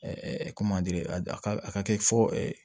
ko a ka a ka kɛ fo